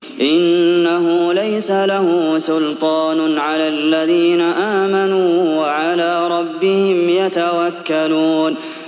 إِنَّهُ لَيْسَ لَهُ سُلْطَانٌ عَلَى الَّذِينَ آمَنُوا وَعَلَىٰ رَبِّهِمْ يَتَوَكَّلُونَ